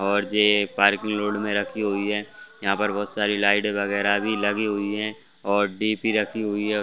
और ये parking load में रखी हुई है यहाँ पर बहुत सारी लाइट वगैरा भी लगी हुई है और डीपी रखी हुई है।